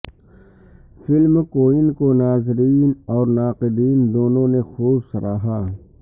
film Queen کو ناظرین اور ناقدین دونوں نے خوب سراہا ہے